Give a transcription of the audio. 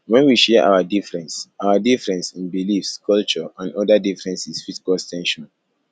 when we share our difference our difference in beliefs culture and oda differences fit cause ten sion